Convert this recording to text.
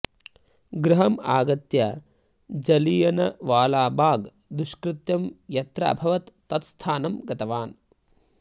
गृहम् आगत्य जलियनवालाबाग् दुष्कृत्यं यत्र अभवत् तत्स्थानं गतवान्